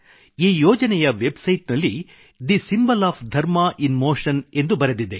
ಈ ಯೋಜನೆಯ website ನಲ್ಲಿ the symbol of dharma in motion ಎಂದು ಬರೆದಿದೆ